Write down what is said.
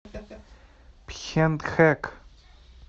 пхентхэк